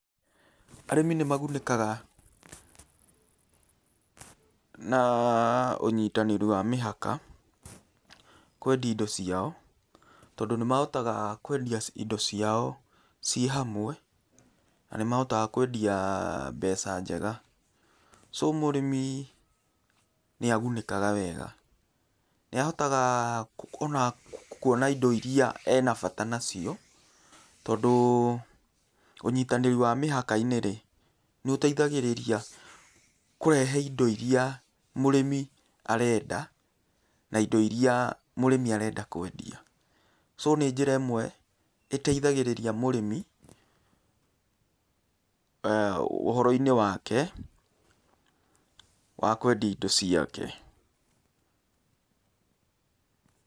Arĩmi nĩmagunĩkaga na ũnyitanĩri wa mĩhaka kwendia indo ciao, tondũ nĩmahotaga kwendia indo ciao, ciĩ hamwe na nĩmahotaga kwendia mbeca njega. So mũrĩmi nĩagunĩkaga wega, nĩahotaga ona kuona indo iria ena bata nacio tondũ ũnyitanĩri wa mĩhaka-inĩ rĩ, nĩũteithagĩrĩria kũrehe indo iria mũrĩmi arenda ana indo iria mũrĩmi arenda kwendia. So nĩ njĩra ĩmwe ĩteithagĩrĩria mũrĩmi ũhoro-inĩ wake wa kwendia indo ciake.